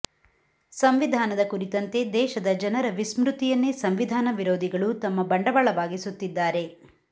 ಸಂವಿಧಾನದ ಕುರಿತಂತೆ ದೇಶದ ಜನರ ವಿಸ್ಮತಿಯನ್ನೇ ಸಂವಿಧಾನ ವಿರೋಧಿಗಳು ತಮ್ಮ ಬಂಡವಾಳವಾಗಿಸುತ್ತಿದ್ದಾರೆ